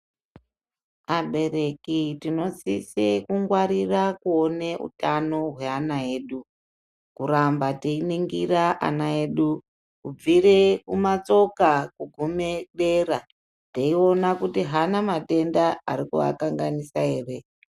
Abereki tinosisa kungwarira kuone utano hweana edu kuramba teiningire ana edu kubvire kumatsoka kugume dera teiona kuti haana matenda arikuakanganisa ere.